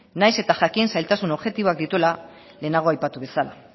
nahiz eta jakin zailtasun objektiboak dituela lehenago aipatu bezala